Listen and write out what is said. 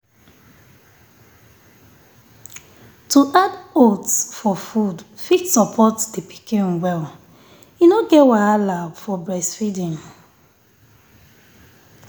to add oats for food fit support the pikin well. e no get wahala for breastfeeding.